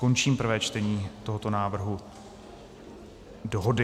Končím prvé čtení tohoto návrhu dohody.